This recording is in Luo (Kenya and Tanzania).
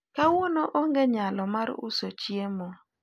kawuono onge nyalo mar uso chiemo